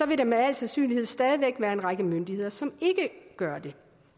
vil der med al sandsynlighed stadig væk være en række myndigheder som ikke gør det